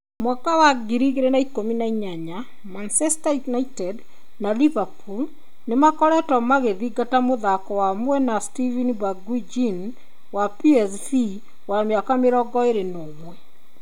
2018 Manchester United na Liverpool nĩ makoretwo magĩthingata mũthaki wa mwena Steven Bergwijn wa PSV wa mĩaka 21 .